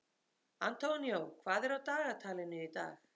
Antonio, hvað er á dagatalinu í dag?